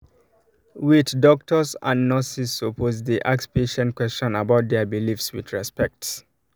wait odoctors and nurses supposed dey ask patient question about their beliefs with respect